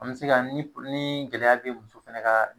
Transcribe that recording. An bɛ se ka ni ni gɛlɛya bɛ muso fɛnɛ ka.